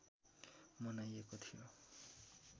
मनाइएको थियो